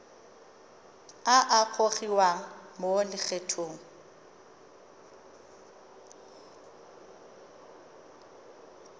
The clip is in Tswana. a a gogiwang mo lokgethong